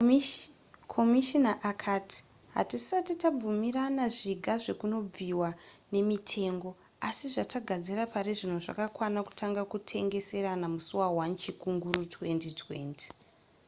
komishina akati hatisati tabvumirana zviga zvekunobviwa nemitengo asi zvatagadzira parizvino zvakakwana kutanga kutengeserana musi wa1 chikunguru 2020